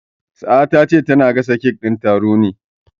Sa'a ta ce tana gasa kek din taron ne.